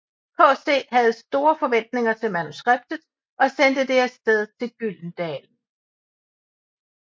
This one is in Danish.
KC havde store forventninger til manuskriptet og sendte det af sted til Gyldendal